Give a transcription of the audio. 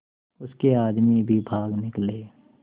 उसके आदमी भी भाग निकले